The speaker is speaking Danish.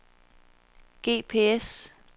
GPS